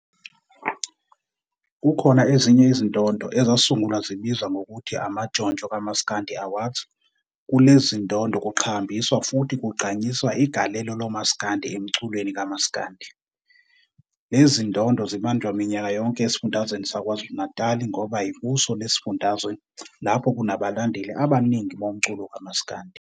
Kukhona ezinye izindondo ezasungulwa zibizwa nhgokuthi amaNtshontsho kaMasikandi Awards kulelezi zindondo kuqhakambiswa futhi kugqanyiswa igalelo lomasikandi emculweni kamasikandi. Lezi zindondo zibanjwa minyaka yonke esifundazweni saKwaZulu-Natali ngoba yikuso lesi sufundazwe lapho kunabalandel abaningi bomculo kamasikandi.